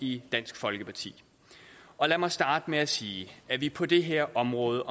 i dansk folkeparti lad mig starte med at sige at vi på det her område